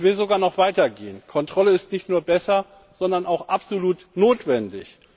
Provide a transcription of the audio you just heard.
Ich will sogar noch weiter gehen Kontrolle ist nicht nur besser, sondern auch absolut notwendig.